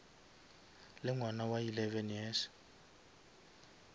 le ngwana wa eleven years